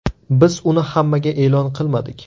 Biz uni hammaga e’lon qilmadik.